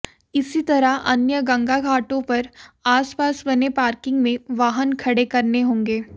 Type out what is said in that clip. इसी तरह अन्य गंगा घाटों पर आसपास बने पार्किंग में वाहन खड़े करने होंगे